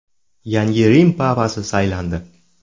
Yangi Rim papasi saylandi.